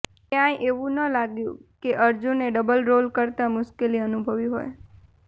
ક્યાંય એવું ન લાગ્યું કે અર્જુને ડબલ રોલ કરતાં મુશ્કેલી અનુભવી હોય